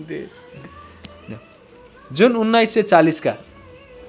जुन १९४० का